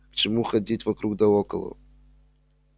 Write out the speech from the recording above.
к чему ходить вокруг да около